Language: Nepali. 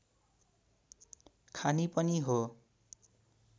खानी पनि हो